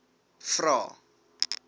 vvvvrae